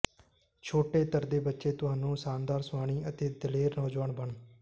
ਛੋਟੇ ਤਰਦੇ ਬੱਚੇ ਤੁਹਾਨੂੰ ਸ਼ਾਨਦਾਰ ਸੁਆਣੀ ਅਤੇ ਦਲੇਰ ਨੌਜਵਾਨ ਬਣ